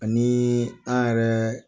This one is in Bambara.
Ni ani yɛrɛ